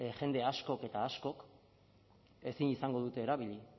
jende askok eta askok ezin izango dute erabili